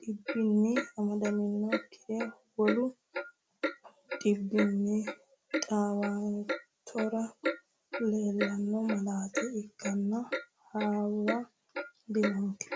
dhibbinni amadantinnokkiri wolu dhibbinni dhiwanturono leellanno malaate ikkinota hawa dinonke.